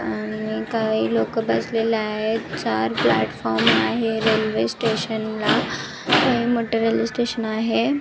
आणि काही लोक बसलेले आहेत चार प्लॅटफॉर्म आहे रेल्वे स्टेशन ला काही मटेरियल स्टेशन आहे.